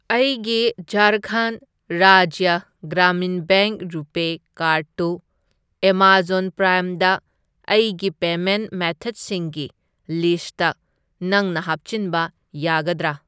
ꯑꯩꯒꯤ ꯓꯥꯔꯈꯟꯗ Rajya Gramin Bank RuPay card ꯇꯨ ꯑꯦꯃꯥꯖꯣꯟ ꯄ꯭ꯔꯥꯏꯝꯗ ꯑꯩꯒꯤ ꯄꯦꯃꯦꯟꯠ ꯃꯦꯊꯗꯁꯤꯡꯒꯤ ꯂꯤꯁꯠꯇ ꯅꯪꯅ ꯍꯥꯞꯆꯤꯟꯕ ꯌꯥꯒꯗ꯭ꯔꯥ?